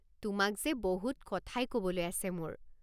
তোমাক যে বহুত কথাই ক'বলৈ আছে মোৰ।